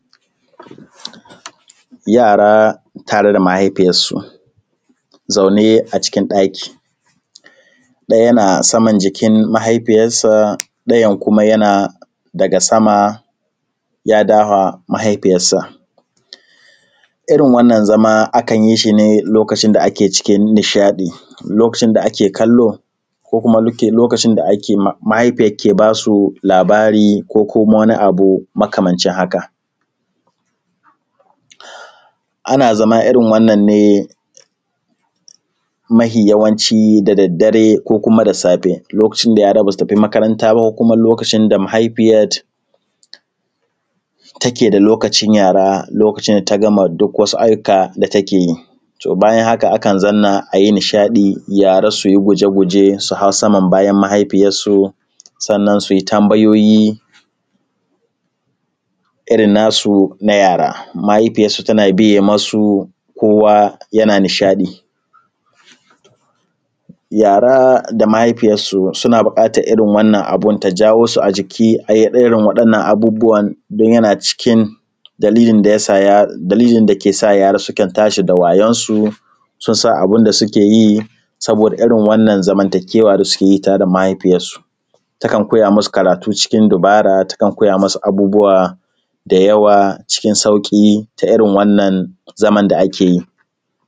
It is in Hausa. Yara tare da mahaifiyarsu zaune a cikin ɗaki, ɗaya na saman jikin mahaifiyarsa, ɗayan kuma yana daga sama ya dahwa mahaifiyarsa. Irin wannan zama akan yi shi ne lokacin da ake cikin nishaɗi, lokacin da ake kallo, ko kuma luke; lokacin da ake ma, mahaifiyar ke ba su labari ko kuma wani abu makamancin haka. Ana zama irin wannan ne mahi yawanci da daddare ko kuma da safe. Lokacin da yara ba su tafi makaranta ba ko kuma lokacin da mahaifiyat take da lokacin yara, lokacin da ta gama duk wasu ayyuka da take yi. To, bayan haka akan zanna a yi nishaɗi yara su yi guje-guje, su hau saman bayan mahaifiyassu, sannan su yi tambayoyi, irin nasu na yara. Mahaifiyassu tana biye masu, kowa yana nishaɗi. Yara da mahaifiyassu, suna buƙatar irin wannan abin su, ta jawo su a jiki, a yi ɗorin waɗannan abubuwan don yana cikin dalilin da ya sa; dalilin da ke sa yara sukan tashi da wayonsu, sun san abin da suke yi, saboda irin wannan zamantakewa da suke yi tare da mahaifiyassu, takan koya masu karatu cikin dubara, takan koya musu abubuwa da yawa cikin sauƙi, ta irin wannan zaman da ake yi.